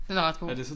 Den er ret god